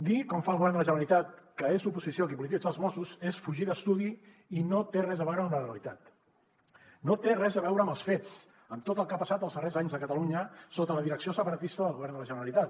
dir com fa el govern de la generalitat que és l’oposició qui polititza els mossos és fugir d’estudi i no té res a veure amb la realitat no té res a veure amb els fets amb tot el que ha passat els darrers anys a catalunya sota la direcció separatista del govern de la generalitat